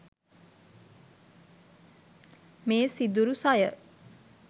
මේ සිදුරු සය